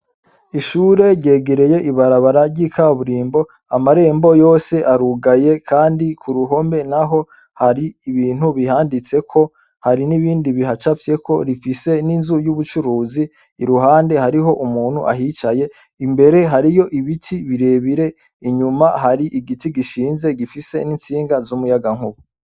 Ishure ryegereye ibarabara ry'ikaburimbo amarembo yose arugaye, kandi ku ruhombe na ho hari ibintu bihanditseko hari n'ibindi bihacavyeko rifise n'inzu y'ubucuruzi iruhande hariho umuntu ahicaye imbere hariyo ibiti birebire inyuma hari igiti gishia inze gifise n'insinga z'umuyaga nkubu.